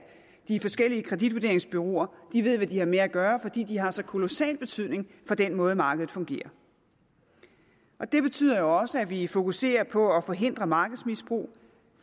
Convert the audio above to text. de forskellige kreditvurderingsbureauer ved hvad de har med at gøre fordi de har så kolossal betydning for den måde markedet fungerer på det betyder jo også at vi fokuserer på at forhindre markedsmisbrug